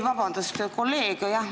Vabandust, kolleeg!